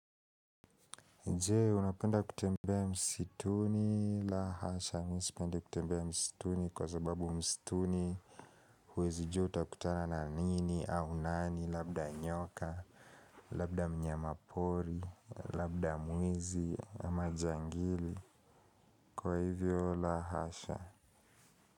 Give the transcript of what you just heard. Nje, unapenda kutembea msituni, la hasha, mimi sipende kutembea msituni kwa sababu msituni, huwezi jua utakutana na nini au nani, labda nyoka, labda mnyamapori, labda mwizi, majangili, kwa hivyo la hasha.